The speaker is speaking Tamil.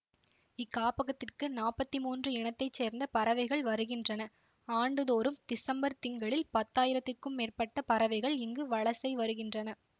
இக்காப்பகத்திற்கு நாப்பத்தி மூன்று இனத்தை சேர்ந்த பறவைகள் வருகின்றன ஆண்டுதோறும் திசம்பர்த் திங்களில் பத்தாயிரத்திற்க்கும் மேற்பட்ட பறவைகள் இங்கு வலசை வருகின்றன